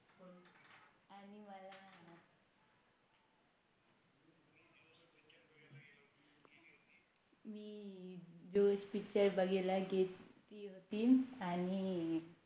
जोश Picture बघायला गेले होते आणि